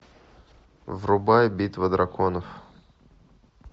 врубай битва драконов